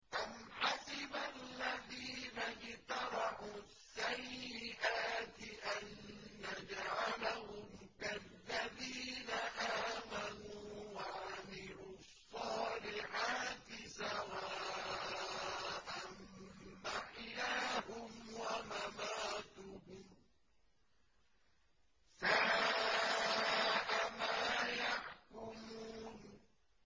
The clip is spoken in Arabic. أَمْ حَسِبَ الَّذِينَ اجْتَرَحُوا السَّيِّئَاتِ أَن نَّجْعَلَهُمْ كَالَّذِينَ آمَنُوا وَعَمِلُوا الصَّالِحَاتِ سَوَاءً مَّحْيَاهُمْ وَمَمَاتُهُمْ ۚ سَاءَ مَا يَحْكُمُونَ